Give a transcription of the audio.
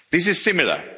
This is similar.